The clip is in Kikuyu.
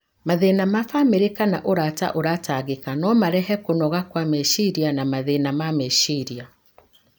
Mathĩna ma bamĩrĩ kana ũrata ũratangĩka no marehe kũnoga kwa meciria na mathĩna ma meciria.